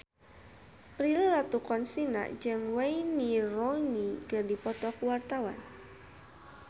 Prilly Latuconsina jeung Wayne Rooney keur dipoto ku wartawan